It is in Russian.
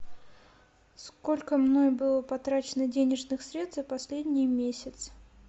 сколько мной было потрачено денежных средств за последний месяц